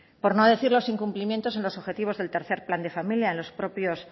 por no decir los incumplimientos en los objetivos del tercero plan de familia en los propios